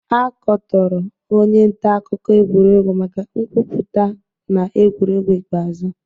A katọrọ onye nta akụkọ egwuregwu maka nkwupụta na egwuregwu ikpeazụ